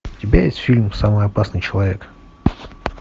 у тебя есть фильм самый опасный человек